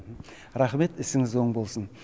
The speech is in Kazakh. рахмет ісіңіз оң болсын